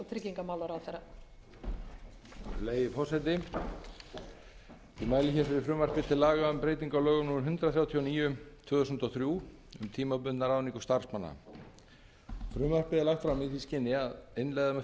virðulegi forseti ég mæli hér fyrir frumvarpi til laga um breytingu á lögum númer hundrað þrjátíu og níu tvö þúsund og þrjú um tímabundna ráðningu starfsmanna frumvarpið er lagt fram í því skyni að innleiða með